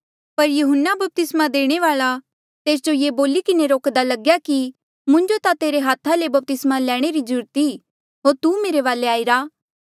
पर यहून्ना बपतिस्मा देणे वाल्आ तेस जो ये बोली किन्हें रोक्दा लग्या कि मुंजो ता तेरे हाथा ले बपतिस्मा लैणे री ज्रूरत ई होर तू मेरे वाले आईरा